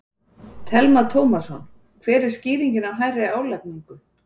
Telma Tómasson: Hver er skýringin á hærri álagningu?